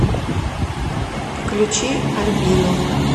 включи альбину